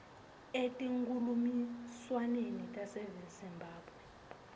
etinkhulumiswaneni tase zimbabwe